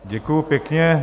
Děkuju pěkně.